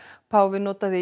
páfinn notaði